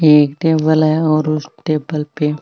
एक टेबल है और उस टेबल पे --